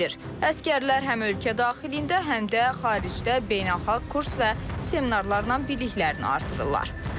Əsgərlər həm ölkə daxilində, həm də xaricdə beynəlxalq kurs və seminarlarla biliklərini artırırlar.